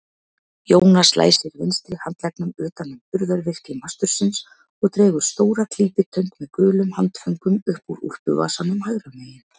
Jónas læsir vinstri handleggnum utan um burðarvirki mastursins og dregur stóra klípitöng með gulum handföngum upp úr úlpuvasanum hægra megin.